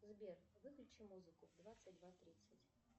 сбер выключи музыку двадцать два тридцать